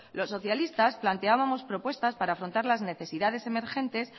los socialistas planteábamos propuestas para afrontar las necesidades emergentes